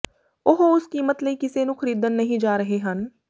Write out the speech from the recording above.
ਉਹ ਉਸ ਕੀਮਤ ਲਈ ਕਿਸੇ ਨੂੰ ਖਰੀਦਣ ਨਹੀਂ ਜਾ ਰਹੇ ਹਨ